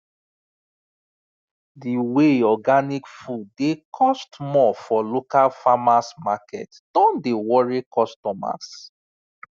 the way organic food dey cost more for local farmers market don dey worry customers